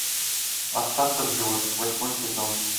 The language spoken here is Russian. остаться в живых восьмой сезон